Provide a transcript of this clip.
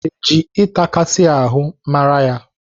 Eji ịtakasị ahụ mara ya?